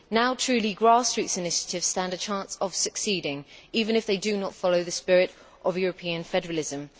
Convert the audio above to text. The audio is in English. Now, truly grassroots initiatives stand a change of succeeding, even if they do not follow the spirit of European federalism.